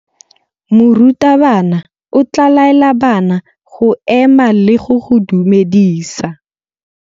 Morutabana o tla laela bana go ema le go go dumedisa.